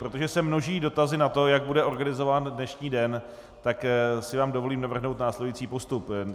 Protože se množí dotazy na to, jak bude organizován dnešní den, tak si vám dovolím navrhnout následující postup.